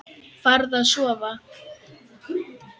Farðu að sofa.